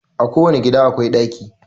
A ko wani gida akwai ɗaki